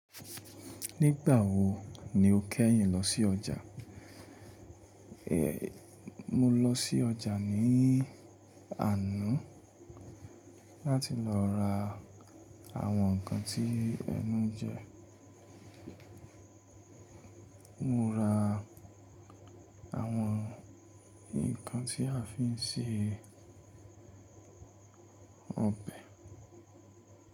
Nígbà wo ni o kẹ́yìn lọ sí ọjà? Mo lọ sí ọjà ní àná, láti lọ ra àwọn ǹkan tí ẹnu ńjẹ. Mo ra àwọn ǹkan tí a fi ń ṣe ọbẹ̀.